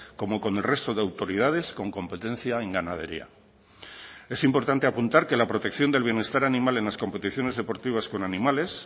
como con el resto de autoridades con competencia en ganadería es importante apuntar que la protección del bienestar animal en las competiciones deportivas con animales